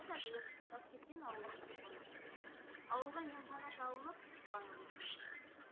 жолдас әділов таскескен ауылының тұрғыны ауылға емхана салынып қуанып отырмыз